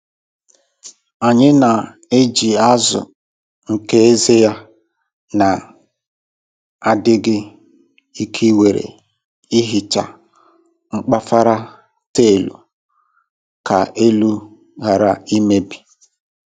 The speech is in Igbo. Anyị na - eji azụ nke eze ya na-adịghị ike were ehicha mkpafara taịlu ka elu ghara imebi